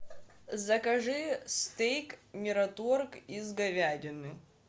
закажи стейк мираторг из говядины